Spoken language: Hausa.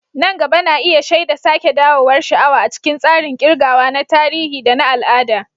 Nan gaba na iya shaida sake dawowar sha'awa a cikin tsarin ƙirgawa na tarihi da na al'ada.